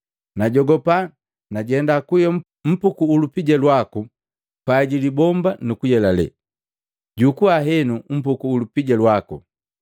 Najogopa, najenda kuhiya mpuku ulupija lwaku pai jilibomba nukuyelale. Jukua henu mpuku ulupija lwaku.’